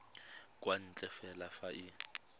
kwa ntle fela fa e